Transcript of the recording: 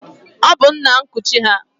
Ọ bụ nna nkuchi ha.